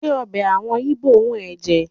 Ṣé ọbẹ̀ àwọn Íbò wù ẹ́ jẹ?